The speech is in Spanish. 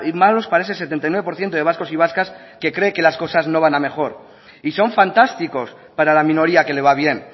malos para ese setenta y nueve por ciento de vascos y vascas que cree que las cosas no van a mejor y son fantásticos para la minoría que le va bien